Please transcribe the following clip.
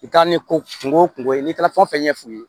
I ka ni ko kungo kungo ye n'i taara fɛn o fɛn ɲɛf'u ye